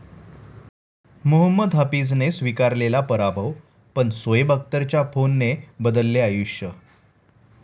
मोहम्मद हफीजने स्वीकारलेला पराभव, पण शोएब अख्तरच्या फोनने बदलले आयुष्य